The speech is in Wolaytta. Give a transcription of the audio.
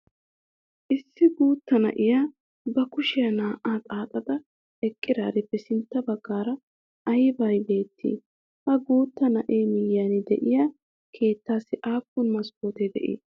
Issi guuttaa na'iya ba kushiya naa''aa xaaxada eqqarippe sintta baggaara aybee beettiyay? Ha guuttaa na''ee miyiyan diya keettaassi aappun maskkotte de"ii?